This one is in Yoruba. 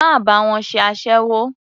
Má bá wọn ṣe aséwó.